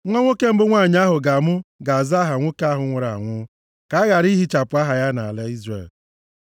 Nwa nwoke mbụ nwanyị ahụ ga-amụ ga-aza aha nwoke ahụ nwụrụ anwụ, ka a ghara ihichapụ aha ya nʼala Izrel.